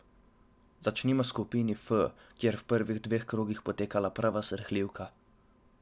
Začnimo v skupini F, kjer v prvih dveh krogih potekala prava srhljivka.